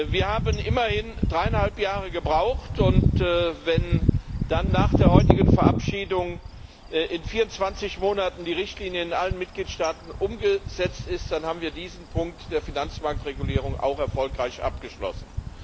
Wir haben immerhin dreieinhalb Jahre gebraucht, und wenn dann nach der heutigen Verabschiedung in 24 Monaten die Richtlinie in allen Mitgliedstaaten umgesetzt ist, dann haben wir diesen Punkt der Finanzmarktregulierung auch erfolgreich abgeschlossen.